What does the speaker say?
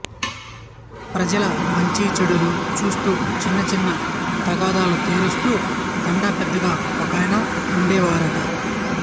ప్రజల మంచిచెడ్డలు చూస్తూ చిన్న చిన్న తగాదాలు తీరుస్తూ తండా పెద్దగా ఒకాయన ఉండేవారట